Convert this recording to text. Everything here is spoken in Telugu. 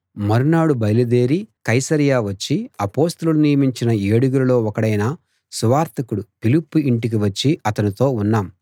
మరునాడు బయలుదేరి కైసరయ వచ్చి అపొస్తలులు నియమించిన ఏడుగురిలో ఒకడైన సువార్తికుడు ఫిలిప్పు ఇంటికి వచ్చి అతనితో ఉన్నాం